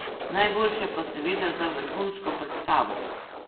Najboljše pa seveda za vrhunsko predstavo.